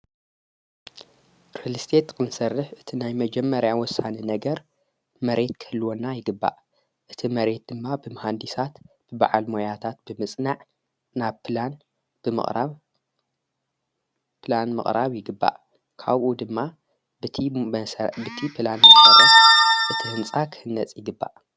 ርልስቴትት ክንሠርሕ እቲ ናይ መጀመርያ ወሳነ ነገር መሬት ክህልወና ይግባእ እቲ መሬት ድማ ብምሃንዲሳት ብበዓል መያታት ብምጽናዕ ናብ ላን ብምቕጵላን መቕራብ ይግባእ ካብኡ ድማ ብቲ ሣ ብቲ ላን መርስ እቲ ሕንጻ ኽህነጽ ይግባእ።